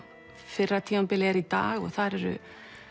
fyrra tímabilið er í dag og þar eru